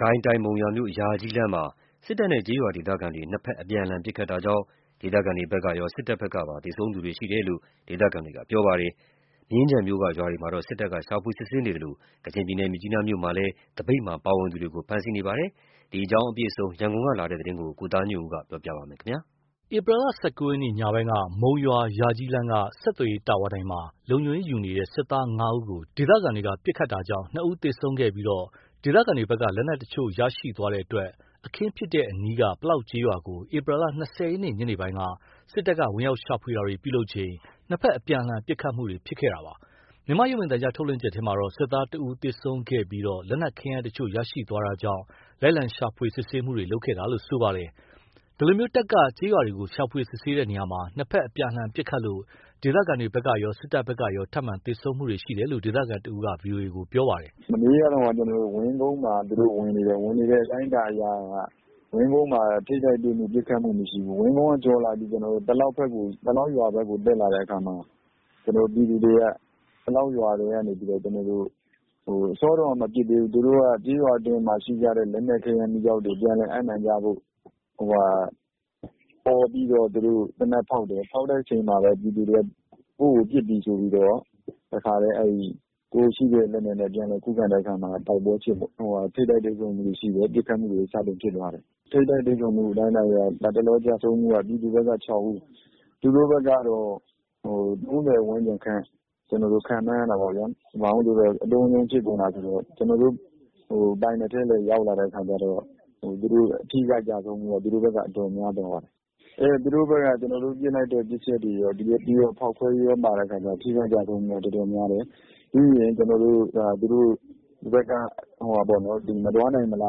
ကိုင်းတိုင်း မုံရွာ - ယာကြီးလမ်းမှာ စစ်တပ်နဲ့ ကျေးရွာဒေသခံတွေ နှစ်ဖက် အပြန်အလှန် ပစ်ခတ်တာကြောင့် ဒေသခံတွေရော စစ်တပ်ဖက်ကပါ သေဆုံးမှုရှိတယ်လို့ ဒေသခံတွေက ပြောပါတယ်။မြင်းခြံမြို့က ရွာတွေမှာလည်း စစ်တပ်က ရှာဖွေစစ်ဆေးတာတွေလုပ်နေသလို ကချင်ပြည်နယ်မြစ်ကြီးနားမြို့မှာ သပိတ်မှာပါဝင်သူတွေကို ဖမ်းဆီးတာတွေ လုပ်ဆောင်နေပါတယ်။ ဒီအကြောင်း အပြည့်အစုံ ရန်ကုန်က လာတဲ့ သတင်းကို ကိုသားညွန့်ဦး ကပြောပြပါမယ်။ ဧပြီ ၁၉ ရက်ညပိုင်းက မုံရွာ - ယာကြီးလမ်းက ဆက်သွယ်ရေး တာဝါတိုင်မှာလုံခြုံရေး ယူနေတဲ့ စစ်သား ၅ ဦးကို ဒေသခံတွေက ပစ်ခတ်တာကြောင့် ၂ ဦးသေဆုံးခဲ့ပြီး ဒေသခံတွေဘက်က လက်နက်အချို့ရရှိသွားတဲ့ အတွက် အခင်းဖြစ်ပွားတဲ့ အနီးက ပလောက်ကျေးရွာကို ဧပြီ ၂၀ ရက် ညနေပိုင်းမှာ စစ်တပ် ဝင်ရောက်ရှာဖွေတာတွေ ပြုလုပ်ချိန် ၂ ဖက် အပြန်အလှန် ပစ်ခတ်တာတွေ ဖြစ်ပွားတာခဲ့တာပါ။ မြန်မာရုပ်မြင်သံကြားထုတ်လွှင့်ချက်ထဲမှာတော့ စစ်သား တဦး သေဆုံးပြီး၊ လက်နက်ခဲယမ်းတချို့ ရရှိသွားတာကြောင့် လိုက်လံရှာဖွေစစ်ဆေးမှုတွေလုပ်ခဲ့တာလို့ဆိုပါတယ်။ ဒီလို တပ်က ကျေးရွာတွေကို ရှာဖွေစစ်ဆေးရာမှာ နှစ်ဖက်အပြန်အလှန် ပစ်ခတ်လို့ ဒေသခံတွေဘက်ရော စစ်တပ်ဖက်ကရော ထပ်မံ သေဆုံးမှုတွေရှိတယ်လို့ ဒေသခံတဦးက ဗွီအိုအေကို ပြောပါတယ်။ “မနေ့က ဝင်းကုန်းမှာဝင်နေတယ်။ ဝင်နေတဲ့အတိုင်းအတာမှာ ဝင်းကုန်းမှာ ထိပ်တိုက်တွေ့မှု ပစ်ခတ်မှု မရှိဘူး။ ဝင်းကုန်းကိုကျော်ပြီး ပလောက်ရွာဘက်ကို တက်တာတဲ့အခါမှာ ပြည်သူတွေက အစောတုန်းက မပစ်သေးဘူး။ သူတို့က ကျေးရွာအတွင်းမှာရှိတဲ့ လက်နက်ခဲယမ်းမီးကျောက်တွေ ပြန်လည်အပ်နှံကြဖို့ အော်ပြီး သေနတ် ဖောက်တယ်။ ဖောက်တဲ့အချိန်မှာ ပြည်သူတွေက သူတို့ကို ပစ်ပြီဆိုပြီး ကိုယ့်ရှိတဲ့ လက်နက်နဲ့ ခုခံတဲ့ အခါမှာ ထိပ်တိုက်တွေ့ဆုံမှုတွေရှိတယ် ပစ်ခတ်မှုတွေဖြစ်တယ်။ ထိပ်တိုက်တွေ့ဆုံမှုအတိုင်းအတာအရ လတ်တလော ကျဆုံးမှုက ပြည်သူဘက်က ၆ ဦး၊ သူတို့ဘက်ကတော့ ၃၀ ဝန်းကျင်ခန့် ခန့်မှန်းရတာပေါ့ဗျာ။ အတုန်းအရုန်း ဖြစ်ကုန်တာပေါ့။ ကျွန်တော်တို့ ပိုင်နက်ထဲလည်း ရောက်လာတာဆိုတော့ အထိအခိုက်ကျဆုံးမှုက သူတို့ဘက်က အတော်များသွားတယ်။ သူတို့ကဘက်က ကျွန်တော်တို့ ပစ်လိုက်တဲ့ ပစ်ချက်တွေကော ဖောက်ခွဲရေးကောဆိုတော့ ထိခိုက်ကျဆုံးမှုက တော်တော်များတယ်။ ပြီးရင်သူတို့ဘက်က မသွားနိုင်မလာ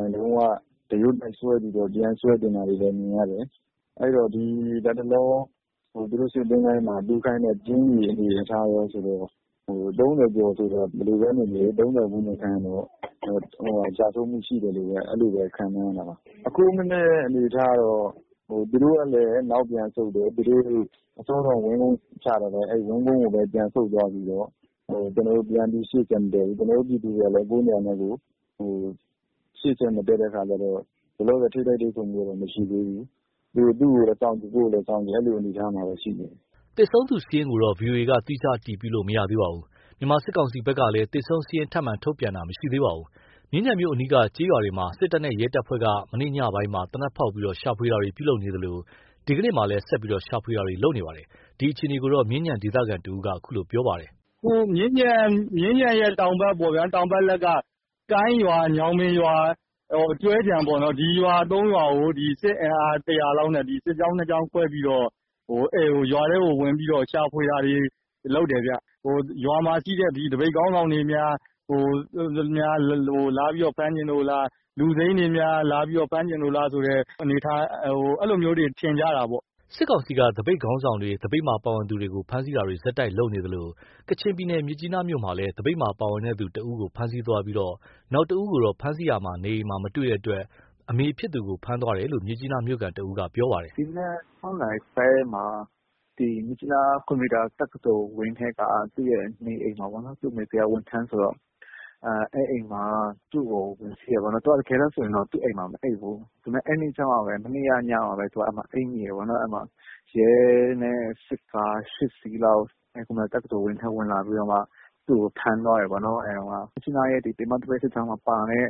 နိုင် ဒရွတ်တိုက် ပြန်ဆွဲတင်တာတွေလည်း မြင်ရတယ်။ လတ်တလော သူတို့ စစ်သချိုင်းမှ မြုပ်ထားတဲ့ ကျင်း အနေအထားကောဆိုရင် ၃၀ ဝန်းကျင်ကျဆုံးမှုရှိတယ်လို့ပဲ ခန့်မှန်းရတာပေါ့။ အခုမနက်ကတော့ သူတို့ဘက်ကလည်း နောက်ပြန်ဆုတ်တယ်။ တပ်ကဝင်းကုန်းမှာ ချထားတာ ဝင်းကုန်းကို ပြန်ဆုတ်သွားပြီးတော့ ပြန်ပြီး ရှေ့ဆက်မတက်ဘူး ကျွန်တော်တို့ ပြည်သူတွေကလည်း ကိုယ်နေရာနဲ့ကိုယ် ရှေ့ဆက် မတက်တဲ့အခါကျတော့ လောလောဆယ် ထိပ်တိုက်တွေ့ဆုံမှုကတော့ မရှိဘူး။ သူ့ကိုယ်လည်း စောင့်ကြည့် ကိုယ့်ကိုယ်လည်းစောင့်ကြည့် အဲ့လို အနေအထားမှာပဲရှိနေတယ်။” သေဆုံးသူစာရင်းကိုတော့ ဗွီအိုကေ သီးခြား အတည်ပြုလို့ မရသေးပါဘူး။ မြန်မာစစ်ကောင်စီဖက်ကလည်း သေဆုံးစာရင်း ထပ်မံ ထုတ်ပြန်တာမရှိသေးပါဘူး။ မြင်းခြံမြို့အနီးက ကျေးရွာတွေမှာ စစ်တပ်နဲ့ရဲတပ်ဖွဲ့က မနေ့ညပိုင်းမှာ သေနတ်ဖောက်ပြီး ရှာဖွေတာတွေ ပြုလုပ်နေသလို ဒီကနေ့မှာလည်း ဆက်လက်ရှာဖွေနေတာတွေလုပ်နေပါတယ်။ ဒီအခြေအနေကို မြင်းခြံဒေသခံ တဦးက အခုလိုပြောပါတယ်။ “မြင်းခြံရဲ့တောင်ဘက် ကိုင်းရွာ ညောင်ပင်ရွာ ကျွဲခြံပေါ့နော်။ ဒီရွာ ၃ ရွာကို စစ်အင်အား ၁၀၀ လောက်နဲ့ စစ်ကြောင်း ၂ ကြောင်းလောက်နဲ့ ရွာထဲကိုဝင်ပြီးတော့ ရှာဖွေတာတွေ လုပ်တယ်ဗျ။ ရွာမှာရှိတဲ့ သပိတ် ခေါင်းဆောင်တွေများ လာပြီးဖမ်းချင်လို့လား လူစိမ်းတွေများ လာပြီးဖမ်းချင်လို့လား အဲ့လိုမျိုးတွေ ထင်ကြတာပေါ့။” စစ်ကောင်စီက သပိတ်ခေါင်းဆောင်တွေ၊ သပိတ်မှာ ပါဝင်သူတွေကို ဖမ်းဆီးတာတွေ ဆက်တိုက် ပြုလုပ်နေသလို ကချင်ပြည်နယ် မြစ်ကြီးနားမြို့မှာလည်း သပိတ်မှာ ပါဝင်သူ ၁ ဦးကို ဖမ်းဆီးသွားပြီး နောက်၁ ဦးကိုတော့ ဖမ်းဆီးရာမှာ နေအိမ်မှာ မတွေ့ရှိတဲ့အတွက် အမေဖြစ်သူကို ဖမ်းဆီးသွားတယ်လို့ မြစ်ကြီးနား မြို့ခံ တဦးကပြောပါတယ်။ “ဒီမနက် ၆ နာရီခွဲမှာ မြစ်ကြီးနား ကွန်ပျူတာ တက္ကသိုလ်ဝင်းထဲက သူ့ရဲ့နေအိမ်မှာ သူ့အမေက ဝန်ထမ်းဆိုတော့ သူ့ကိုဝင်စီးတယ်။ သူကတကယ်တော့ သူ့အိမ်မှာမအိပ်ဘူး။ မနေ့က ညမှပဲ အဲ့မှာ အိပ်မိတယ်ပေါ့နော်။ အဲ့မှာ ရဲနဲ့စစ်ကား ၈ စီးလောက် ကွန်ပျူတာ တက္ကသိုလ် ဝင်းထဲ ဝင်လာပြီးတော့မှ သူ့ကို ဖမ်းသွားတယ်ပေါ့နော်။ ပြီးတော့ ကျွန်တော်တို့ မြစ်ကြီးနားရဲ့ ပင်မသပိတ်စစ်ကြောင်း မှာပါတဲ့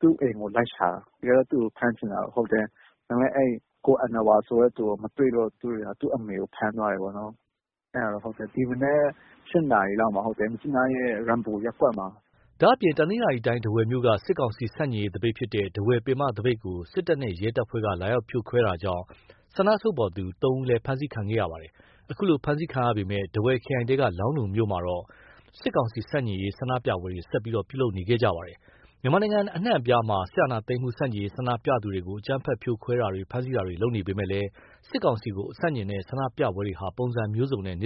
သူ့အိမ်ကို လိုက်ရှာတာ အဲ့မှာ ကိုအဏ္ဏဝါဆိုတဲ့သူကို မတွေ့တော့ သူ့အမေကို ဖမ်းသွားတယ်ပေါ့နော်။ အဲ့ဒါက ဒီမနက် ၈ နာရီလောက် မြစ်ကြီးနားရဲ့ ရမ်ပူရပ်ကွက်မှာ။” ဒါ့အပြင် တနင်္သာရီတိုင်း ထားဝယ်မြို့က စစ်ကောင်စီဆန့်ကျင်ရေး သပိတ်ဖြစ်တဲ့ ထားဝယ်ပင်မသပိတ်ကို စစ်တပ်နဲ့ရဲတပ်ဖွဲ့က လာရောက်ဖြိုခွင်းတာကြောင့် ဆန္ဒထုတ်ဖော်သူ ၃ ဦးလည်း ဖမ်းဆီးခံခဲ့ရပါတယ်။ အခုလို ဖမ်းဆီးခံရပေမယ့် ထားဝယ်ခရိုင်ထဲက လောင်းလုံမြို့မှာတော့ စစ်ကောင်စီဆန့်ကျင်ရေး ဆန္ဒပြပွဲတွေ ဆက်လက်ပြုလုပ်နေခဲ့ပါတယ်။ မြန်မာနိုင်ငံအနှံ့အပြားမှာ စစ်အာဏာသိမ်းမှုဆန့်ကျင်ရေး ဆန္ဒပြသူတွေကို အကြမ်းဖက် ဖြိုခွဲတာတွေ၊ ဖမ်းဆီးတာတွေ လုပ်နေပေမယ့်လည်း စစ်ကောင်စီကို ဆန့်ကျင်တဲ့ ဆန္ဒပြပွဲတွေဟာ ပုံစံမျိုးစုံနဲ့ နေ့